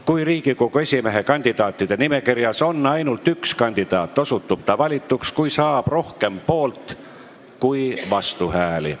Kui Riigikogu esimehe kandidaatide nimekirjas on ainult üks kandidaat, osutub ta valituks, kui saab rohkem poolt- kui vastuhääli.